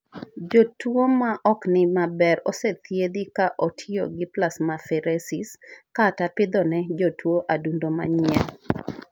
Jotuo ma ok ni maber osethiethi ka otiyo gi plasmapheresis kata pidho ne jatuo adundo manyien.